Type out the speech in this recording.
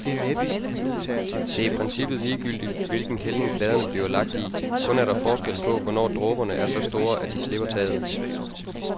Det er i princippet ligegyldigt, hvilken hældning pladerne bliver lagt i, kun er der forskel på, hvornår dråberne er så store, at de slipper taget.